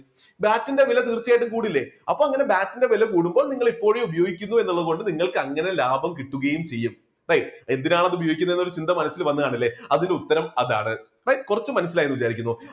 BAT ന്റെ വില തീർച്ചയായിട്ടും കൂടില്ലേ അപ്പൊ അങ്ങനെ BAT ന്റെ വില കൂടുമ്പോൾ നിങ്ങൾ ഇപ്പോഴും ഉപയോഗിക്കുന്നു എന്നുള്ളത് കൊണ്ട് നിങ്ങൾക്ക് അങ്ങനെ ലാഭം കിട്ടുകയും ചെയ്യും. എന്തിനാണ് അത് ഉപയോഗിക്കുന്നത് എന്ന് ഒരു ചിന്ത മനസ്സിൽ വന്നുകാണുമല്ലേ, അതിനുത്തരം അതാണ് കുറച്ചു മനസ്സിലായെന്ന് വിചാരിക്കുന്നു.